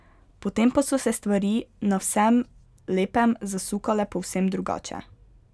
Potem pa so se stvari na vsem lepem zasukale povsem drugače.